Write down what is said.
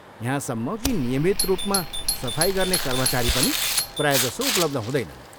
यहाँसम्म कि नियमित रूमा सफाइ गर्ने कर्मचारी पनि प्रायजसो उपलब्ध हुँदैनन्।